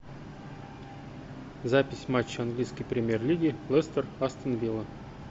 запись матча английской премьер лиги лестер астон вилла